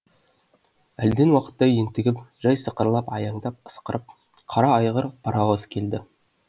әлден уақытта ентігіп жай сықырлап аяңдап ысқырып қара айғыр паровоз келді